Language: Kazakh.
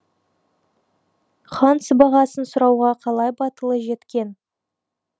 хан сыбағасын сұрауға қалай батылы жеткен